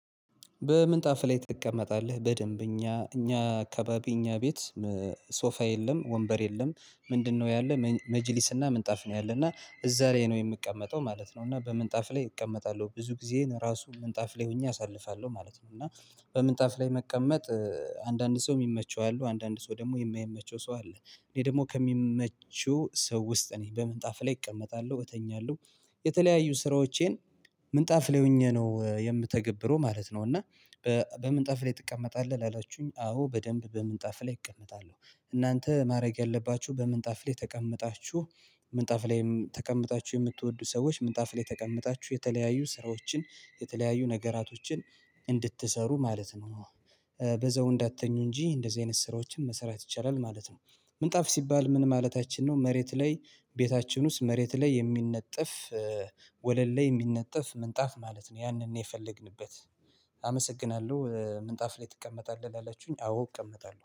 በምንጣፍ ላይ ትቀመጣለህ በደንብ እኛ እኛ አካባቢ እኛ ቤት ሶፋ የለም ወንበር የለም። ምንድነው ያለ መጅሊስና ምንጣፍ ነው ያለና እዛ ላይ ነው የምቀመጠው ማለት ነው። እና በምንጣፍ ላይ እቀመጣለሁ ብዙ ጊዜ ራሱ ምንጣፍ ላይ ሆኜ አሳልፋለሁ ማለት ነው። እና በምንጣፍ ላይ መቀመጥ አንዳንድ ሰው የሚመቸው አሉ አንዳንድ ሰው ደግሞ የማይመቸው ሰው አለ። እኔ ደግሞ ከሚመቹ ሰው ውስጥ ነኝ በምን ጣፍ ላይ እቀመጣለሁ እተኛለሁ። የተለያዩ ስራዎቼን ምንጣፍ ላይ ሆኜ ነው የምተገብረው ማለት ነው። እና በምንጣፍ ላይ ትቀመጣለህ አላችሁኝ አዎ በደንብ በምንጣፍ ላይ እቀመጣለሁ። እናንተ ማድረግ ያለባችሁ በምንጣፍ ላይ ተቀምጣችሁ ምንጣፍ ላይም ተቀምጣችሁ የምትወዱ ሰዎች ምንጣፍ ላይ ተቀምጣችሁ የተለያዩ ስራዎችን የተለያዩ ነገራቶችን እንድትሰሩ ማለት ነው። በዘው እንዳትተኙ እንጂ እንደዚህ አይነት ስራዎችን መሰራት ይቻላል ማለት ነው። ምንጣፍ ሲባል ምን ማለታችን ነው? መሬት ላይ ቤታችን ውስጥ መሬት ላይ የሚነጥፍ ወለል ላይ የሚነጥፍ ምንጣፍ ማለት ነው። ያንን ነው የፈለግንበት። አመሰግናለሁ ምንጣፍ ላይ ትቀመጣለህ ላላችሁኝ አዎ እቀመጣለሁ